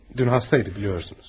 Dünən xəstə idi, bilirsəniz.